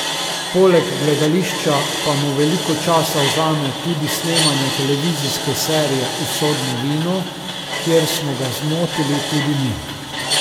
Poleg gledališča pa mu veliko časa vzame tudi snemanje televizijske serije Usodno vino, kjer smo ga zmotili tudi mi.